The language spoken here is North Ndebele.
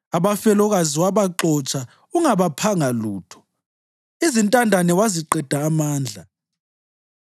Abafelokazi wabaxotsha ungabaphanga lutho izintandane waziqeda amandla.